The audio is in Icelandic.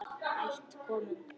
Hætt kominn